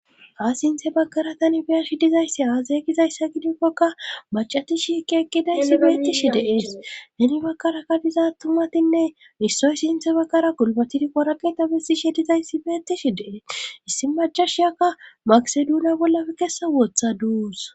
Ha sinthe bagkaratan beershi dizayssi aazay gizayssa gidikkoka macatishi ki eqqidayssi beettishi deees heni bakarakka diza tumatinne issoy sinthe bakkara gulbatid qoraeta besishi dizayssi beettishi dee issi macashiyakka maseduniya bollafe kessa woothaduus.